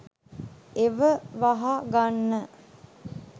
ඒව වහ ගන්න